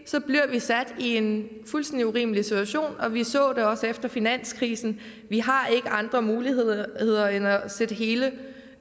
bliver vi sat i en fuldstændig urimelig situation vi så det også efter finanskrisen vi har ikke andre muligheder end at sætte hele den